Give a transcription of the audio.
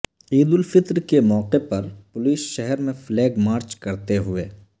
عید الفطر کے موقع پر پولیس شہر میں فلیگ مارچ کرتے ہوئے